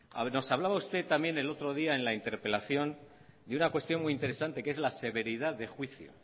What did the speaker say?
nos hablaba usted también el otro día en la interpelación de una cuestión muy interesante que es la severidad de juicio